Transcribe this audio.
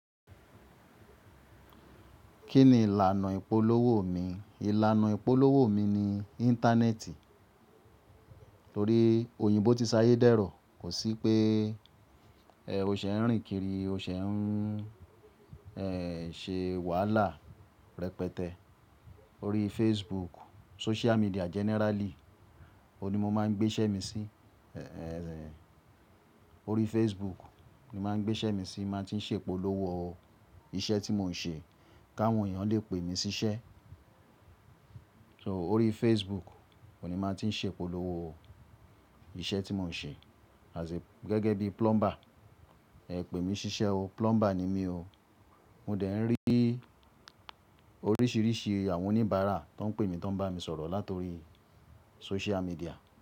Kí ni ìlànà ìpolówó mi? Ìlànà ìpolówó mi ni Íńtánẹ́ẹ̀tì torí oyinbo ti sayé dẹrọ. Kò sí pé o ṣe ń rìn kiri, o ṣe ń ṣe wàhálà rẹpẹtẹ. Orí Facebook, social media generally, òun ní mo máa ń gbé iṣẹ́ mi sí. Orí Facebook ni máa ń gbé iṣẹ́ mi sí, máa ti ń ṣe ìpolówó iṣẹ́ tí mò ń ṣe, ka àwọn èèyàn lè pè mí síṣẹ́. Orí Facebook òní máa ti ń ṣe ìpolówó iṣẹ́ tí mò ń ṣe as gẹ́gẹ́ bí plumber. Pe mí ṣíṣẹ́ o, plumber ni mí o. Mo dẹ̀ ń rí oríṣìíríṣìí àwọn oníbàárà tó ń pè mí tó ń bá mi sọ̀rọ̀ latori social media.